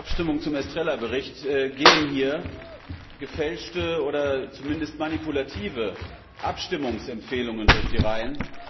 Vor dieser Abstimmung zum Bericht Estrela gehen hier gefälschte oder zumindest manipulative Abstimmungsempfehlungen durch die Reihen.